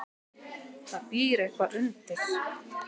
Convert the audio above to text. Það býr eitthvað undir.